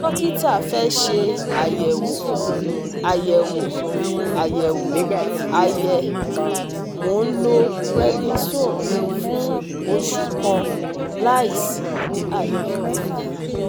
Dókítà fẹ́ ṣe àyẹ̀wò àyẹ̀wò àyẹ̀wò àyẹ Mo ń lo prednisone fún oṣù kan láìsí àyípadà